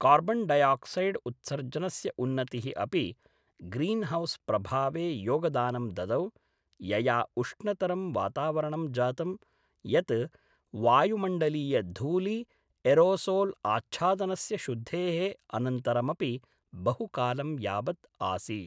Carbon dioxide उत्सर्जनस्य उन्नतिः अपि ग्रीनहौस्प्रभावे योगदानं ददौ, यया उष्णतरं वातावरणं जातं यत् वायुमण्डलीयधूलि एरोसोल् आच्छादनस्य शुद्धेः अनन्तरमपि बहुकालं यावत् आसीत्।